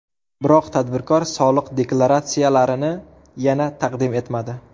Biroq tadbirkor soliq deklaratsiyalarini yana taqdim etmadi.